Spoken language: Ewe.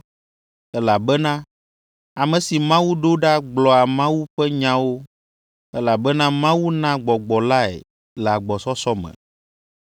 Elabena ame si Mawu ɖo ɖa gblɔa Mawu ƒe nyawo elabena Mawu na Gbɔgbɔ lae le agbɔsɔsɔ me.